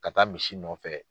Ka taa misi nɔfɛ